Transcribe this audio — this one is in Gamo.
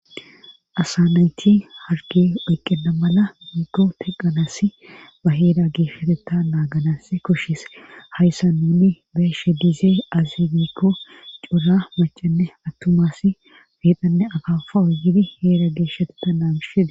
asa nayti harge weyqqena mala migo teqanasi ba heeda geesheteta naaganas kushis hayssa nuni beeshe diizee azinikko cora macanne attumasi beeqhanne akafa oyidi heeda geesheteta naamishidi